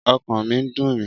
Ọkàn mi ń dùn mí